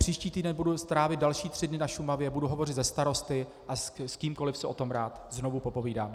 Příští týden budu trávit další tři dny na Šumavě, budu hovořit se starosty a s kýmkoliv si o tom rád znovu popovídám.